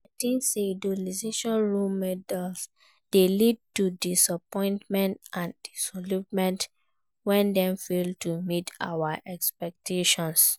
I think say idolizing role models dey lead to disappointment and disillusionment when dem fail to meet our expectations.